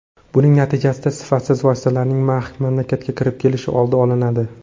Buning natijasida sifatsiz vositalarning mamlakatga kirib kelishi oldi olinadi”.